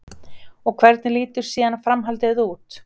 Og hvernig lítur síðan framhaldið út?